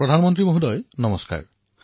প্ৰধানমন্ত্ৰী মহোদয় নমস্কাৰঃ